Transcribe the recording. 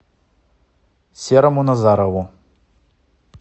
серому назарову